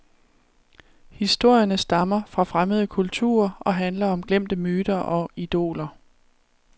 Historierne stammer fra fremmede kulturer og handler om glemte myter og idoler.